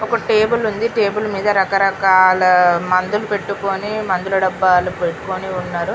ఒక టేబుల్ ఉంది టేబుల్ మీద రకరకాల మందులు పెట్టుకొని మందుల డబ్బాలు పెట్టుకొని ఉన్నారు .